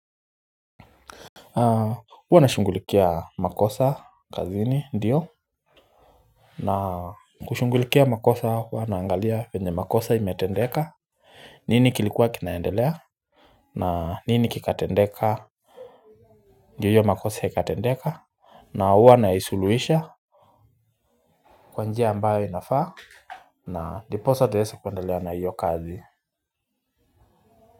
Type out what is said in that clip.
Uwa nashungulikia makosa kazini ndiyo. Na kushungulikia makosa huwa naangalia venye makosa imetendeka nini kilikuwa kinaendelea. Na nini kikatendeka. Ndio hiyo makosa ikatendeka. Na huwa naisuluhisha kwa njia ambayo inafaa ndiposa tuwesi kuendelea na hiyo kazi.